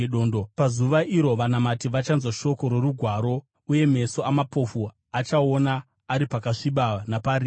Pazuva iro vanamati vachanzwa shoko rorugwaro, uye meso amapofu achaona ari pakasviba naparima.